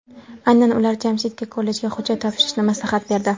Aynan ular Jamshidga kollejga hujjat topshirishni maslahat berdi.